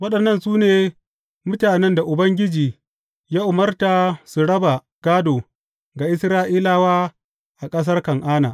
Waɗannan su ne mutanen da Ubangiji ya umarta su raba gādo ga Isra’ilawa a ƙasar Kan’ana.